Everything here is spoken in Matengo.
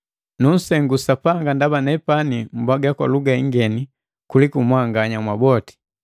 Nunsengu Sapanga ndaba nepani mpwaga kwa luga ingeni kuliku mwanganya mwaboti.